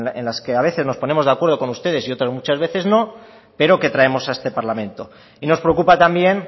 en las que a veces nos ponemos de acuerdo con ustedes y otras muchas veces no pero que traemos a este parlamento y nos preocupa también